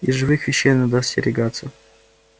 и живых вещей надо остерегаться